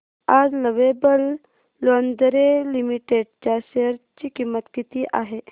आज lovable lingerie limited च्या share ची किंमत किती आहे